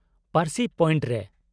-ᱯᱟᱨᱥᱤ ᱯᱚᱭᱮᱱᱴ ᱨᱮ ᱾